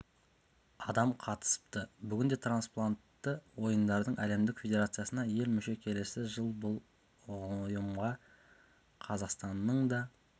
адам қатысыпты бүгінде трансплантты ойындардың әлемдік федерациясына ел мүше келесі жыл бұл ұйымға қазақстанның да